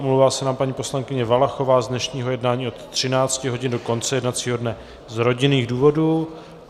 Omlouvá se nám paní poslankyně Valachová z dnešního jednání od 13 hodin do konce jednacího dne z rodinných důvodů.